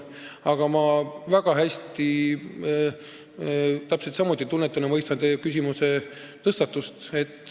Aga ma väga hästi, täpselt samuti, tunnetan ja mõistan teie küsimuse olulisust.